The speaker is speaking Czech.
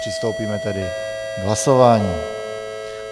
Přistoupíme tedy k hlasování.